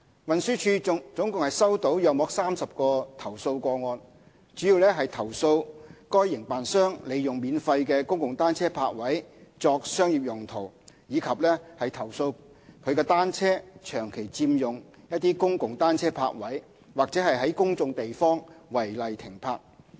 運輸署共收到約30個投訴個案，主要投訴該營辦商利用免費的公共單車泊位作商業用途，以及投訴其單車長期佔用公共單車泊位或在公眾地方違例停泊。